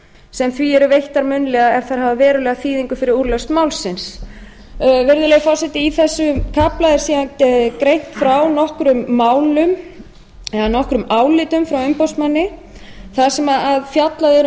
sem því eru veittar munnlega ef þær hafa verulega þýðingu fyrir úrlausn málsins virðulegi forseti í þessum kafla er síðan greint frá nokkrum málum eða nokkrum álitum frá umboðsmanni þar sem fjallað er um